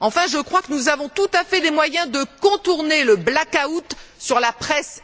Enfin, je crois que nous avons tout à fait les moyens de contourner le blackout sur la presse.